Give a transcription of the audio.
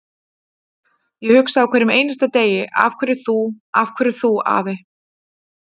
Ég hugsa á hverjum einasta degi: Af hverju þú, af hverju þú afi?